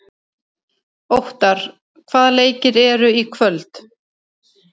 Óttarr, hvaða leikir eru í kvöld?